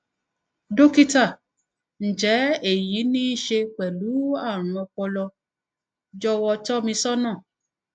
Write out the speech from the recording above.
dọkítà ǹjẹ èyí ní í ṣe pẹlú àrùn ọpọlọ jọwọ tọ mi sọnà